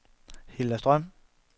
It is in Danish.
Hilda Strøm